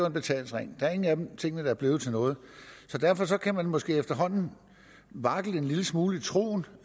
en betalingsring der er ingen af tingene der er blevet til noget så derfor kan man måske efterhånden vakle en lille smule i troen